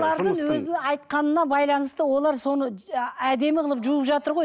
өзінің айтқанына байланысты олар соны әдемі қылып жууып жатыр ғой